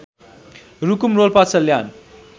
Rukum Rolpa Salyan